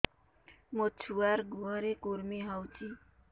ମୋ ଛୁଆର୍ ଗୁହରେ କୁର୍ମି ହଉଚି